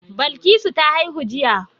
Balkisu ta haihu jiya.